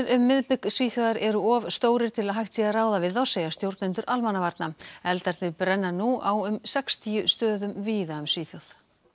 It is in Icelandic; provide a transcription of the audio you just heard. um miðbik Svíþjóðar eru of stórir til að hægt sé að ráða við þá segja stjórnendur almannavarna eldarnir brenna nú á um sextíu stöðum víða um Svíþjóð